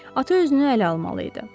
Ata özünü ələ almalı idi.